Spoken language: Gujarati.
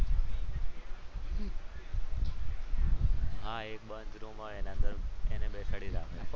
હા એક બંધ રૂમ હોય એની અંદર એને બેસાડી રાખે.